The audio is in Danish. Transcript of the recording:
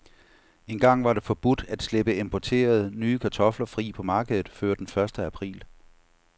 Engang var det forbudt at slippe importerede, nye kartofler fri på markedet før den første april.